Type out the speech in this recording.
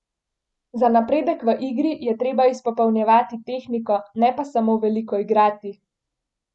Za napredek v igri je treba izpopolnjevati tehniko, ne pa samo veliko igrati!